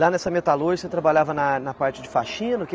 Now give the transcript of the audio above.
Lá nessa metalúrgica você trabalhava na na parte de faxina? O que